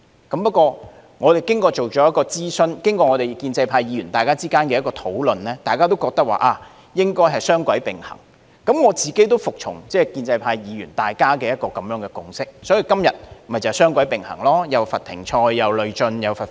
不過，我們經過諮詢，加上建制派議員之間的討論，大家均認為應該雙軌並行，我亦服從建制派議員之間的共識，所以今天雙軌並行，既罰停賽、累進和罰款。